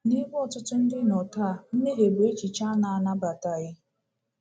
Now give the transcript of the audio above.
Nebe ọtụtụ ndị nọ taa, mmehie bụ echiche a na-anabataghị.